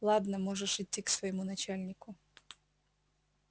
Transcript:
ладно можешь идти к своему начальнику